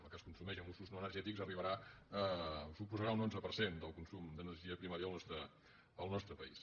la que es consumeix en usos no energètics arribarà suposarà un onze per cent del consum d’energia primària del nostre país